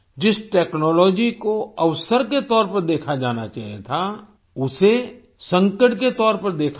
जिस टेक्नोलॉजी को अवसर के तौर पर देखा जाना चाहिए था उसे संकट के तौर पर देखा गया